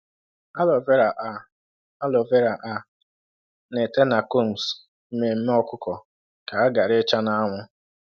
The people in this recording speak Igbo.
Aloe vera á Aloe vera á nà ete na combs mmemmé ọkụkọ ka ha ghara ịcha n’anwụ.